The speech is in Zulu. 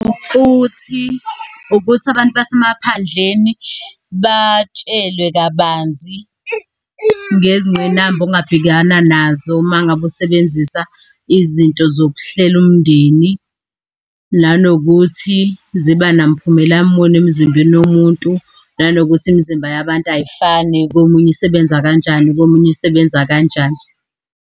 Ukuthi, ukuthi abantu basemaphandleni batshelwe kabanzi ngezingqinamba ongabhekana nazo uma ngabe usebenzisa izinto zokuhlela umndeni, nanokuthi ziba namphumela muni emzimbeni womuntu. Nanokuthi imizimba yabantu ayifani, komunye isebenza kanjani, komunye isebenza kanjani.